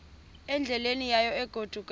endleleni yayo egodukayo